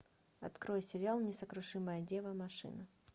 открой сериал несокрушимая дева машина